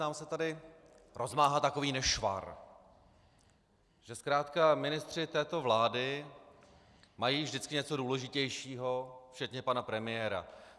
Nám se tady rozmáhá takový nešvar, že zkrátka ministři této vlády mají vždycky něco důležitějšího, včetně pana premiéra.